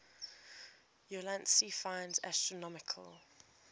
ulansey finds astronomical